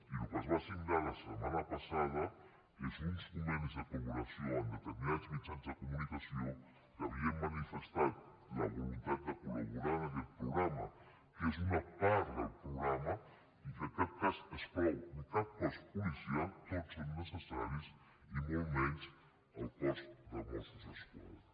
i el que es va signar la setmana passada són uns convenis de col·laboració amb determinats mitjans de comunicació que havien manifestat la voluntat de col·laborar en aquest programa que és una part del programa i que en cap cas exclou ni cap cos policial tots són necessaris i molt menys el cos de mossos d’esquadra